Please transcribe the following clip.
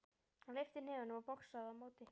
Hann lyfti hnefunum og boxaði á móti.